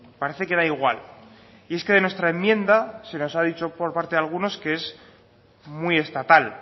parece que da igual y es que de nuestra enmienda se nos ha dicho por parte de alguno que es muy estatal